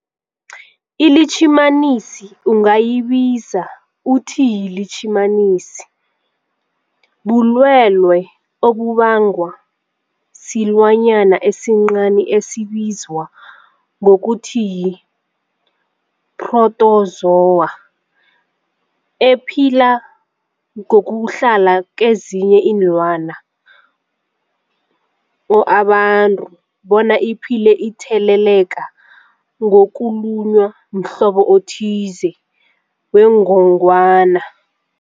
iLitjhimanisi ungayibiza uthiyilitjhimanisi, bulwelwe obubangwa silwanyana esincani esibizwa ngokuthiyi-phrotozowa ephila ngokuhlala kezinye iinlwana or abantu, bona iphile itheleleka ngokulunywa mhlobo othize wengogwana.